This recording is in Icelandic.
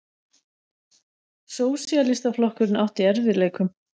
Sósíalistaflokkurinn átti í erfiðleikum.